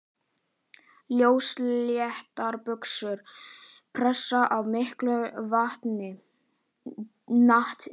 Ljósleitar buxur pressaðar af mikilli natni.